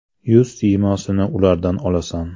Yuz siymosini ulardan olasan.